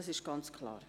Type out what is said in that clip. Dies ist ganz klar.